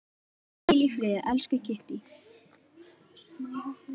Hvíl í friði, elsku Kittý.